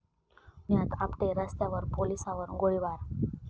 पुण्यात आपटे रस्त्यावर पोलिसावर गोळीबार